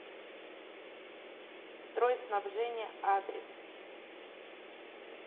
стройснабжение адрес